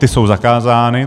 Ty jsou zakázány.